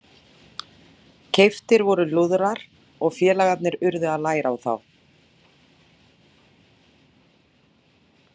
Keyptir voru lúðrar og félagarnir urðu að læra á þá.